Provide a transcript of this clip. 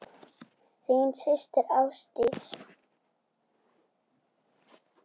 Þín systir Ásdís.